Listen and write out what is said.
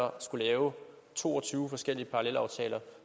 at skulle lave to og tyve forskellige parallelaftaler